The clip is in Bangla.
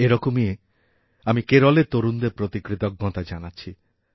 এরকমই আমি কেরলের তরুণদের প্রতি কৃতজ্ঞতা জানাচ্ছি